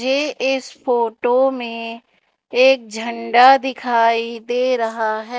मुझे इस फोटो में एक झंडा दिखाई दे रहा है।